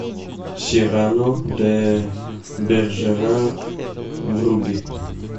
сирано де бержерак вруби